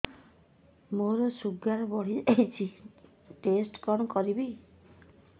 ମୋର ଶୁଗାର ବଢିଯାଇଛି ଟେଷ୍ଟ କଣ କରିବି